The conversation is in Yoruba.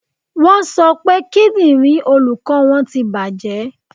Wọ́n sọ pé kíndìnrín olùkọ́ wọn ti bàjẹ́.